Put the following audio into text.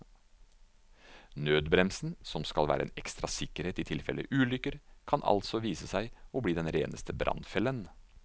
Nødbremsen, som skal være en ekstra sikkerhet i tilfelle ulykker, kan altså vise seg å bli den reneste brannfellen.